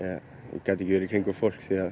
ég gat ekki verið í kringum fólk því